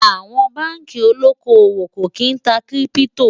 àwọn bánkì olókó owó kò kín tá kírìpitò